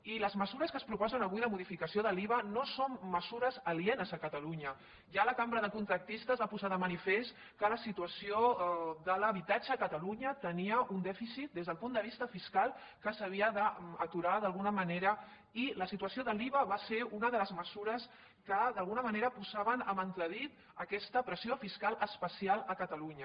i les mesures que es proposen avui de modificació de l’iva no són mesures alienes a catalunya ja la cambra de contractistes va posar de manifest que la situació de l’habitatge a catalunya tenia un dèficit des del punt de vista fiscal que s’havia d’aturar d’alguna manera i la situació de l’iva va ser una de les mesures que d’alguna manera posaven en entredit aquesta pressió fiscal especial a catalunya